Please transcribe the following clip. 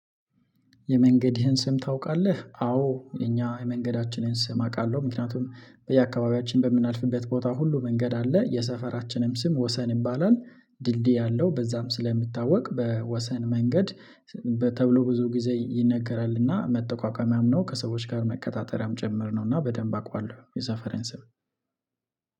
የመንገድህን ስም ታውቃለ? አዎ የኛ የመንገዳችንን ስም አውቃለሁ፤ ምክንያቱም በየአካባቢያችን በምናልፍበት ቦታ ሁሉ መንገድ አለ፤ የሰፈራችንም ስም ወሰን ይባላል፤ ድልድይ አለው በዛም ስለሚታወቅ በወሰን መንገድ በተብሎ ብዙ ጊዜ ይነገራል እና መጠቋቋሚያም ነው፤ ከሰዎች ጋር መቀጣጠሪያም ጭምር ነው እና በደንብ አውቀዋለሁ የዛ ፈረንሰም